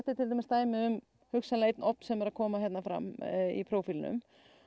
til dæmis dæmi um hugsanlega einn ofn sem er að koma hér fram í prófílnum